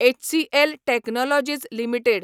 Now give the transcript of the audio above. HCL technologies limited